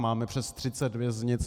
Máme přes 30 věznic.